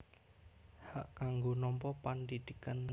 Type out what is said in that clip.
Hak kanggo nampa pendidikan